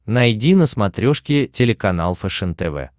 найди на смотрешке телеканал фэшен тв